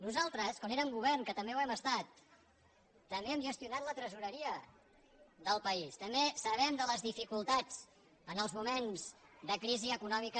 nosaltres quan érem govern que també ho hem estat també hem gestionat la tresoreria del país també sabem de les dificultats en els moments de crisi econòmica